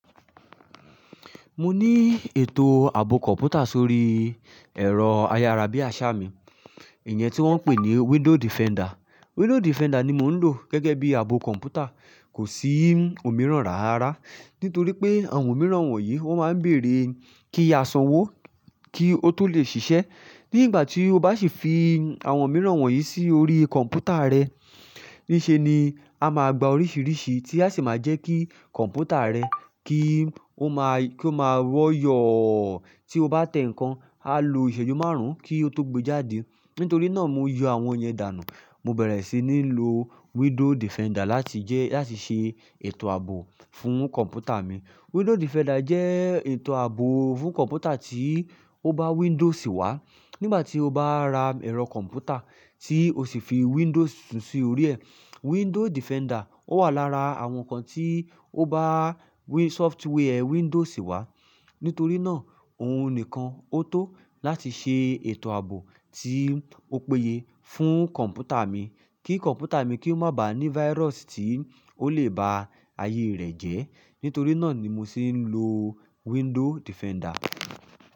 Mo ní ètò ààbò kọ̀ǹpútà sórí ẹ̀rọ ayárabíàṣá mi, ìyẹn tí wọ́n ń pè ní Window Defender. Window Defender ni mò ń lò gẹ́gẹ́ bí ààbò kọ̀ǹpútà. Kò sí òmíràn rárá, nítorí pé àwọn òmíràn wọ̀nyí wọ́n máa ń bèrè kí a sanwó kí ó tó lè ṣiṣẹ́. Ní ìgbà tí o bá sì fi àwọn òmíràn wọ̀nyí sí orí kọ̀ǹpútà rẹ, níṣe ni a máa gba oríṣiríṣi tí a sì máa jẹ́ kí kọ̀ǹpútà rẹ kí ó máa rọ̀ yọ̀ọ tí o bá tẹ ǹkan, á lo ìṣèjú márùn-ún kí ó tó gbe jáde. Nítorí náà mo yọ àwọn yẹn dànù. Mo bẹ̀rẹ̀ sí ní lo Window Defender láti jẹ́ láti ṣe ètò ààbò fún kọ̀ǹpútà mi. Window Defender jẹ́ ètò ààbò fún kọ̀ǹpútà tí o bá Windows wá. Nígbà tí o bá ra ẹ̀rọ kọ̀ǹpútà tí o sì fi Windows titún sí orí ẹ, Window Defender ó wà lára àwọn ǹkan tí o bá software Windows wá. Nítorí náà òun nìkan ó tó láti ṣe ètò ààbò tí ó péye fún kọ̀ǹpútà mi kí kọ̀ǹpútà mi kí ó má ba à ní virus tí ó lè ba ayé rẹ̀ jẹ́. Nítorí náà ni mo se ń lo Window Defender.